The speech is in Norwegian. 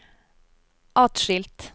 atskilt